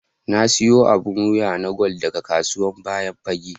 Na siya abun wiya na gwal daga kasuwan bayan fage.